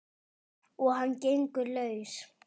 Og hann gengur laus!